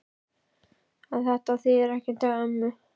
En þetta þýðir ekkert hjá ömmu.